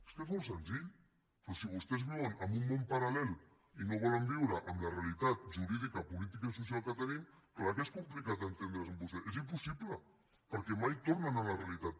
és que és molt senzill però si vostès viuen en un món paral·lel i no volen viure amb la realitat jurídica política i social que tenim clar que és complicat entendre’s amb vostès és impossible perquè mai tornen a la realitat